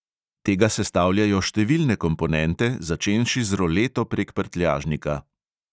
Tega sestavljajo številne komponente, začenši z roleto prek prtljažnika.